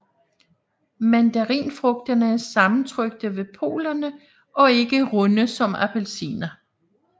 Mandarinfrugterne er sammentrykte ved polerne og ikke runde som appelsiner